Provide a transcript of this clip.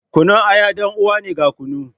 Kunun aya dan uwa ne ga kunu.